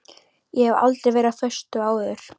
Ég hef aldrei verið á föstu áður.